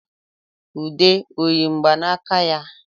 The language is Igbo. Ude ọ yi mgbanaka ya?